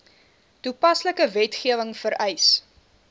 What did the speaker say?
toepaslike wetgewing vereis